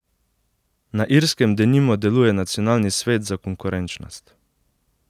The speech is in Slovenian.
Na Irskem denimo deluje Nacionalni svet za konkurenčnost.